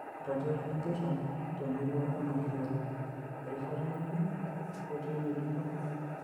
Iratiot lempita temurrua e Mashuuru; erishata ng'ejuk, ketiii ng'ejuko?